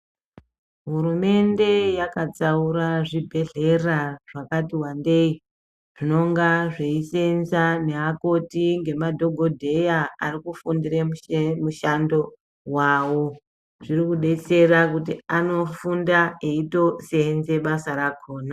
Hurumende yakatsaura zvibhedhlera zvakati wandei, zvinonga zveiseenza neakoti ngemadhogodheya ari kufundire mushe mushando wavo . Zviri kudetsera kuti anofunda eitoseenze basa rakhona.